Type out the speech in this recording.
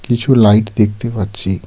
কিছু লাইট দেখতে পাচ্ছি.